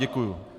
Děkuji.